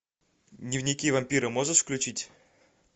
дневники вампира можешь включить